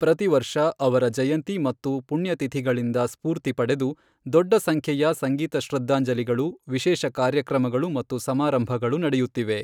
ಪ್ರತಿವರ್ಷ ಅವರ ಜಯಂತಿ ಮತ್ತು ಪುಣ್ಯತಿಥಿಗಳಿಂದ ಸ್ಫೂರ್ತಿ ಪಡೆದು ದೊಡ್ಡ ಸಂಖ್ಯೆಯ ಸಂಗೀತ ಶ್ರದ್ಧಾಂಜಲಿಗಳು, ವಿಶೇಷ ಕಾರ್ಯಕ್ರಮಗಳು ಮತ್ತು ಸಮಾರಂಭಗಳು ನಡೆಯುತ್ತಿವೆ.